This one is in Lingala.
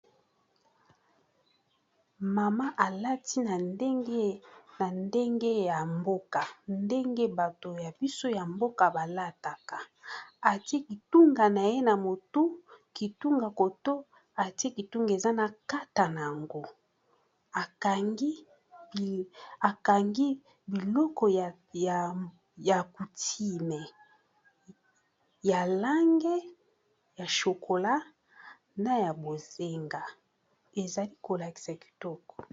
Mama alati na ndenge na ndenge ya mboka ndenge bato ya biso ya mboka balataka atie kitunga na ye na motu kitunga koto atie kitunga eza na kata na yango akangi biloko ya kutime ya lange ya shokola, na ya bozenga ezali kolakisa kitoko.